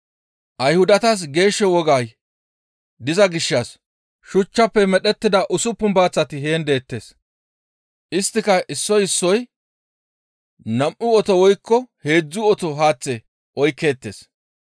Ayhudatas geesho wogay diza gishshas shuchchafe medhettida usuppun baaththati heen deettes; isttika issoy issoy nam7u oto woykko heedzdzu oto haaththe oykkeettes.